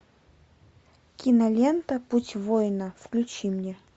кинолента путь воина включи мне